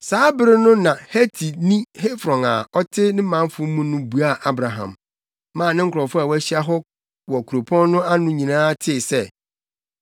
Saa bere no na Hetini Efron a ɔte ne manfo mu no buaa Abraham, maa ne nkurɔfo a wɔahyia wɔ kurow no pon ano nyinaa tee sɛ,